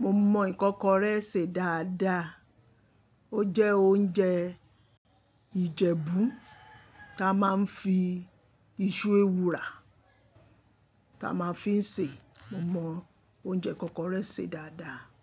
Mo mọ ìkọ́kọrẹ́ ṣe dáadáa. Ó jẹ́ oúnjẹ Ìjẹ̀bú ta máa ń fi iṣu ewùrà ta máa ń fi ń sè. Mo mọ oúnjẹ ìkọ́kọrẹ́ ṣe dáadáa.